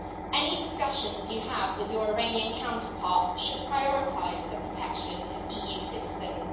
Any discussions you have with your Iranian counterpart should prioritise the protection of EU citizens.